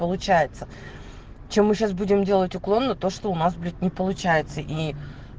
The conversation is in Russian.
получается что мы сейчас будем делать уклон на то что у нас блять не получается и